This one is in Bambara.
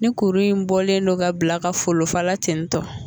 Ni kuru in bɔlen no ka bila ka folofala tentɔ